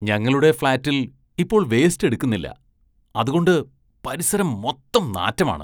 ഞങ്ങളുടെ ഫ്‌ളാറ്റില്‍ ഇപ്പോള്‍ വേസ്റ്റ് എടുക്കുന്നില്ല, അതുകൊണ്ട് പരിസരം മൊത്തം നാറ്റമാണ്.